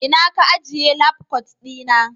ina Ka ajiye labkwat dina?